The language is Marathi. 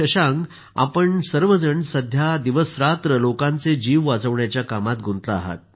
शशांक आपण सर्व जण सध्या दिवसरात्र लोकांचे जीव वाचवण्याच्या कामात गुंतला आहात